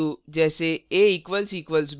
equal to के बराबर जैसे a == b